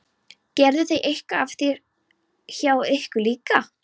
Gerðu þeir eitthvað af sér hjá ykkur líka?